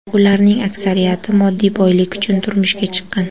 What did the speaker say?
Ularning aksariyati moddiy boylik uchun turmushga chiqqan.